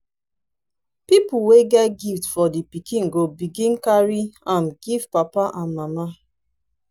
pipol wey get gift for di pikin go begin carry am giv papa and mama